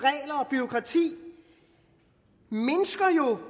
bureaukrati mindsker jo